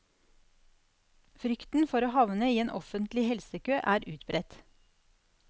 Frykten for å havne i en offentlig helsekø er utbredt.